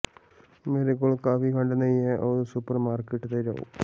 ਮੇਰੇ ਕੋਲ ਕਾਫੀ ਖੰਡ ਨਹੀਂ ਹੈ ਆਓ ਸੁਪਰਮਾਰਕੀਟ ਤੇ ਜਾਉ